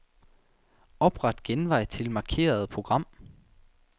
Opret genvej til markerede program.